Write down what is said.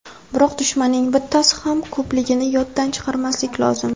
Biroq dushmanning bittasi ham ko‘pligini yoddan chiqarmaslik lozim.